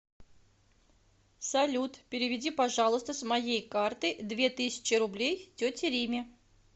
салют переведи пожалуйста с моей карты две тысячи рублей тете риме